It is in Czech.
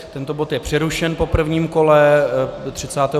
Tento bod je přerušen po prvním kole.